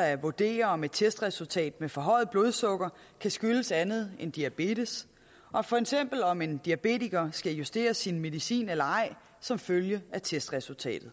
at vurdere om et testresultat med forhøjet blodsukker kan skyldes andet end diabetes og for eksempel om en diabetiker skal justere sin medicin eller ej som følge af testresultatet